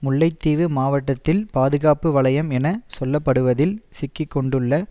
முல்லைத்தீவு மாவட்டத்தில் பாதுகாப்பு வலயம் என சொல்லப்படுவதில் சிக்கி கொண்டுள்ள